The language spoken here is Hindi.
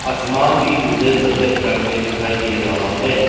समान भी मुझे सफेद रंग में दिखाई दे रहा है।